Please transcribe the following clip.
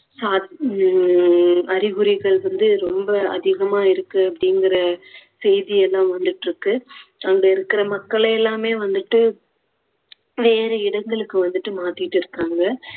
சா~ உம் அறிகுறிகள் வந்து ரொம்ப அதிகமா இருக்கு அப்படிங்குற செய்தி எல்லாம் வந்துட்டுருக்கு. அங்க இருக்குற மக்களெல்லாமே வந்துட்டு வேற இடங்களுக்கு வந்துட்டு மாத்திட்டு இருக்காங்க